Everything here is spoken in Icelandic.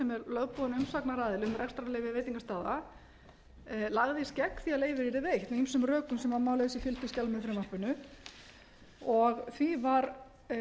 lögboðinn umsagnaraðili um rekstrarleyfi veitingastaða lagðist gegn því að leyfið yrði veitt með ýmsum rökum sem má lesa í fylgiskjali með frumvarpinu og því var